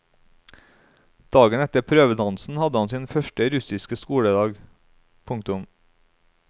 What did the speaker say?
Dagen etter prøvedansen hadde han sin første russiske skoledag. punktum